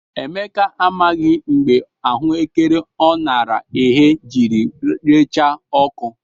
Emeka amaghị mgbe ahụekere ọ nara eghe jiri recha ọkụ.